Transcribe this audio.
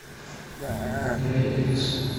рэй элис